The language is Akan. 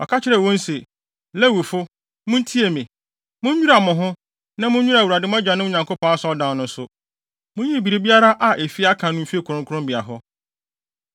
Ɔka kyerɛɛ wɔn se, “Lewifo, muntie me! Munnwira mo ho, na munnwira Awurade, mo agyanom Nyankopɔn Asɔredan no nso. Munyiyi biribiara a efi aka no mfi kronkronbea hɔ.